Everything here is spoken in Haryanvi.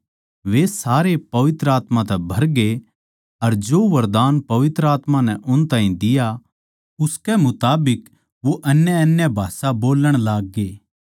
वे सारे पवित्र आत्मा तै भरगे अर जो वरदान पवित्र आत्मा नै उन ताहीं दिया उसके मुताबिक वो अन्यअन्य भाषा बोल्लण लाग्गे